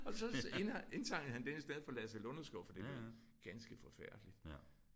Og så indsang han den i stedet for Lasse Lunderskov fordi det lød ganske forfærdeligt